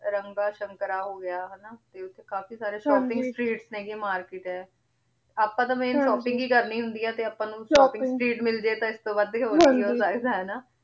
ਰਾਮਬਾ ਸ਼ੰਕਰ ਹੋਗਯਾ ਹਾਨਾ ਤੇ ਓਥੇ ਕਾਫੀ ਸਾਰੇ shopping streets ਦੀ ਵੀ ਮਾਰਕੇਟ ਆਯ ਆਪਾਂ ਤਾਂ shopping ਈ ਕਰਨੀ ਹੁੰਦੀ ਆ ਤੇ ਆਪਾਂ ਨੂ shopping street ਮਿਲ ਜੇ ਤਾਂ ਏਸ ਤੋਂ ਵਾਦ ਹੋਰ ਕੀ ਹੋ ਸਕਦਾ ਹੈ ਨਾ ਹਾਂਜੀ